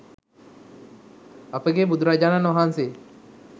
අපගේ බුදුරජාණන් වහන්සේ